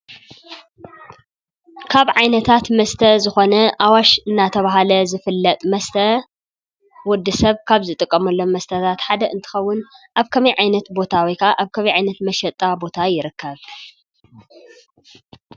ካብ ዓይነታት መስተ ዝኮነ ኣዋሽ እናተባሃለ ዝፍለጥ መስተ ወዲ ሰብ ካብ ዝጥቀመሎም መስተታት ሓደ እንትከውን ኣብ ከመይ ዓይነት ቦታ ወይ ከዓ ኣብ ከመይ ዓይነት መሸጣ ቦታ ይርከብ?